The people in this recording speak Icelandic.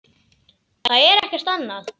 Það er ekkert annað.